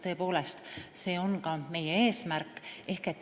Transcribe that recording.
Tõepoolest, see on ka meie eesmärk.